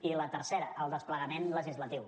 i la tercera el desplegament legislatiu